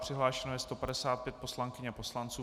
Přihlášeno je 155 poslankyň a poslanců.